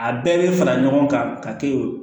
A bɛɛ bɛ fara ɲɔgɔn kan ka kɛ o